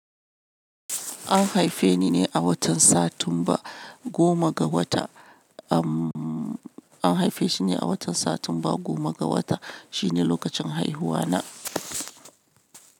An haife ni ne a watan Satumba goma ga wata. Am, an haife shi ne a watan Satumba goma ga wata. Shi ne lokacin haihuwa na.